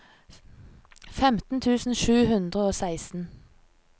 femten tusen sju hundre og seksten